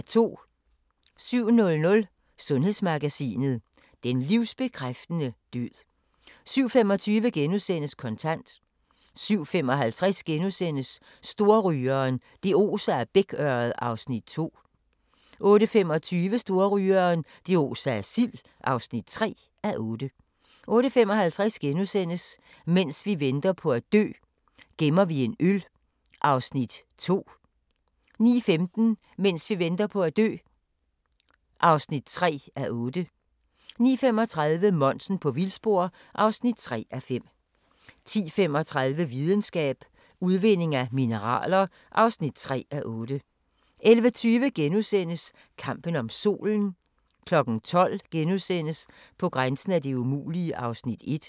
07:00: Sundhedsmagasinet: Den livsbekræftende død 07:25: Kontant * 07:55: Storrygeren – det oser af bækørred (2:8)* 08:25: Storrygeren – det oser af sild (3:8) 08:55: Mens vi venter på at dø - gemmer vi en øl (2:8)* 09:15: Mens vi venter på at dø (3:8) 09:35: Monsen på vildspor (3:5) 10:35: Videnskab: Udvinding af mineraler (3:8) 11:20: Kampen om Solen * 12:00: På grænsen af det umulige (1:2)*